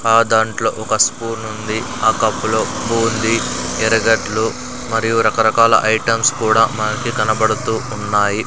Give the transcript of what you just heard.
ఆ దాంట్లో ఒక స్పూన్ ఉంది ఆ కప్పులో ఉప్పు ఉంది ఎర్రగడ్డల్లు మరియు రకరకాల ఐటమ్స్ కూడా మనకి కనపడుతూ ఉన్నాయి.